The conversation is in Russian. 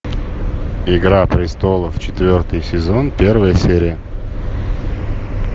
игра престолов четвертый сезон первая серия